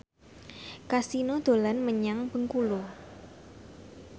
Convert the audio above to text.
Kasino dolan menyang Bengkulu